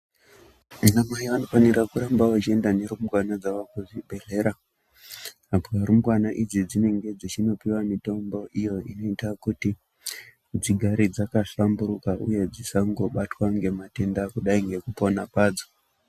Ana mai anofana kuramba achienda nerumbwana dzavo kuzvibhedhlera apa rumbwana idzi dzinenge dzichienda kundopuwa mitombo inoita kuti dzigare dzakahlamburuka uye dzisangobatwa nematenda kudai nekupora kwadzo.